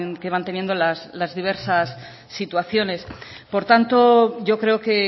que van teniendo las diversas situaciones por tanto yo creo que